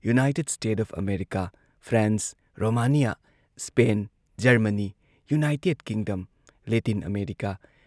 United States of America, France, Romania, Spain, Germany, United Kingdom, Latin America,